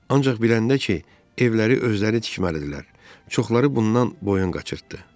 Ancaq biləndə ki, evləri özləri tikməlidirlər, çoxları bundan boyun qaçırtdı.